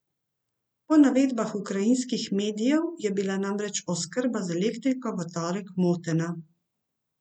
Po navedbah ukrajinskih medijev je bila namreč oskrba z elektriko v torek motena.